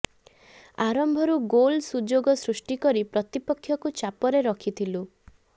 ଆରମ୍ଭରୁ ଗୋଲ୍ ସୁଯୋଗ ସୃଷ୍ଟି କରି ପ୍ରତିପକ୍ଷକୁ ଚାପରେ ରଖିଥିଲୁ